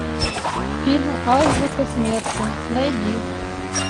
фильм азбука смерти найди